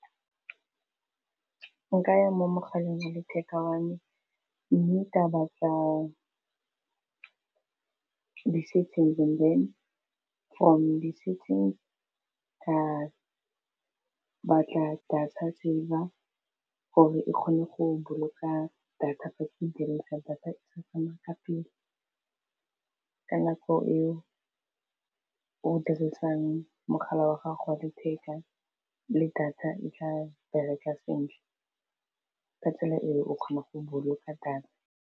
O ka ya mo mogaleng wa letheka wa me mme ka batla di-settings and then from di-settings ka batla data saver gore e kgone go boloka data e ke e dirisang data tshetsana ka nako eo ke o dirisang mogala wa gago wa letheka le data e tla bereka sentle ka tsela eo o kgona go boloka data.